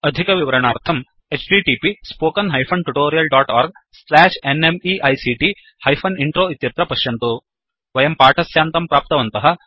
अधिकविवरणार्थं httpspoken tutorialorgNMEICT Intro इत्यत्र पश्यन्तु वयं पाठस्यान्तं प्राप्तवन्तः